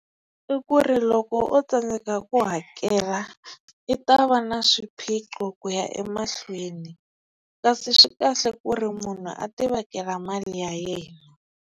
I ku ri loko o tsandzeka ku hakela i ta va na swiphiqo ku ya emahlweni kasi swi kahle ku ri munhu a ti vekela mali ya yena.